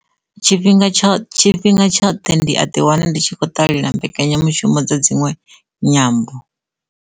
Tshifhinga tsha, tshifhinga tshoṱhe ndi a ḓi wana ndi tshi kho ṱalela mbekanyamushumo dza dzinwe nyambo.